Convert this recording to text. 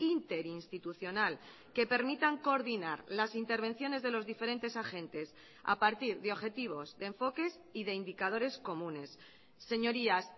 interinstitucional que permitan coordinar las intervenciones de los diferentes agentes a partir de objetivos de enfoques y de indicadores comunes señorías